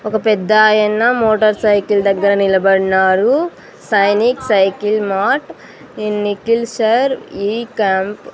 ఒక పెద్దాయన motorcycle దగ్గర నిలబడ్నారు Sainik cycle mart in Nikhil sir ఈ క్యాంప్ --